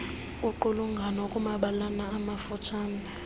qulungano kuumabalana amafutshane